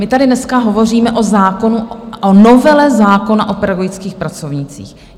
My tady dneska hovoříme o zákonu, o novele zákona o pedagogických pracovnících.